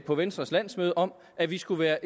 på venstres landsmøde om at vi skulle være